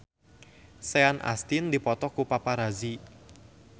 Sean Astin dipoto ku paparazi